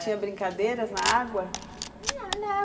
Tinha brincadeiras na água? Não...